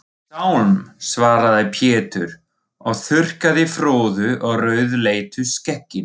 Sálm, svaraði Pétur og þurrkaði froðu úr rauðleitu skegginu.